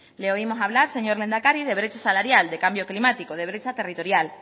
le oímos hablar señor lehendakari de brecha salarial de cambio climático de brecha territorial